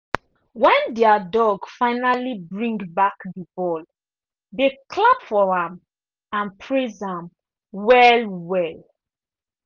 when their dog finally bring back the ball they clap for am and praise am well well.